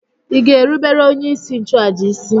Ị ga-erubere onyeisi nchụàjà isi!